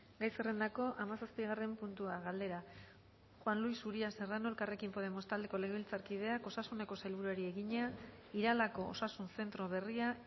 gai zerrendako hamazazpigarren puntua galdera juan luis uria serrano elkarrekin podemos taldeko legebiltzarkideak osasuneko sailburuari egina iralako osasun zentro berria